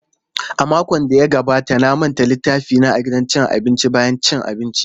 A makon da ya gabata na manta littafina a gidan abinci bayan cin abinci.